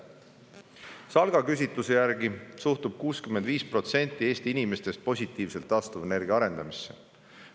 SALK on teinud küsitluse, mille järgi 65% Eesti inimestest suhtub taastuvenergia arendamisse positiivselt.